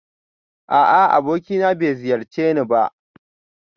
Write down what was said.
A'a abokina bai ziyarce ni ba